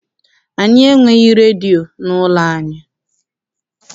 Anyị enweghị redio n'ụlọ anyị.